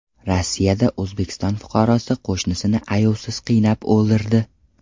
Rossiyada O‘zbekiston fuqarosi qo‘shnisini ayovsiz qiynab o‘ldirdi.